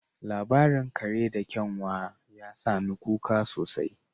Labarin kare da kyanwa ya sa ni kuka sosai